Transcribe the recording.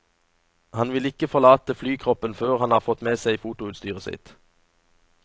Han vill ikke forlate flykroppen før han har fått med seg fotoutstyret sitt.